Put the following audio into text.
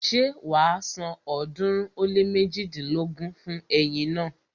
Ṣé wàá san ọ̀ọ́dúnrún ó lé méjidínlógún fún ẹyin naa?